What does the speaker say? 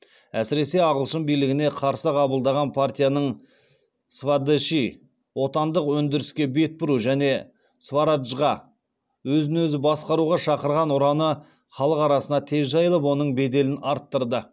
әсіресе ағылшын билігіне қарсы қабылдаған партияның свадеши және свараджға шақырған ұраны халық арасына тез жайылып оның беделін арттырды